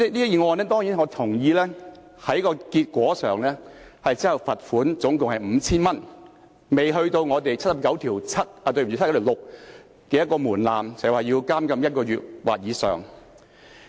代理主席，當然，我同意這宗案件在結果上只罰款總共 5,000 元，未達到《基本法》第七十九條第六項的門檻，即監禁1個月或以上。